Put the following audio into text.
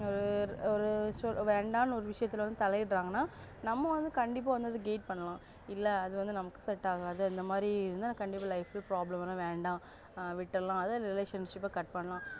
ஆஅ ஒரு வேண்டான்னு ஒரு விஷயத்துல வந்து தலை இடராங்கனா நம்ம வந்து கண்டிப்பா வந்து guide பண்ணலாம் இல்ல அதுவந்து நமக்கு வந்து set ஆகாது இந்த மாதிரி இருந்தா கண்டிப்பா life ல problem வரும் வேண்டாம் விட்டறலாம other relationship அ cut பண்ணிடலாம்